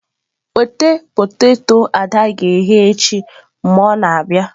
Weta poteto ada ga-eghe echi mgbe ọ na-abịa.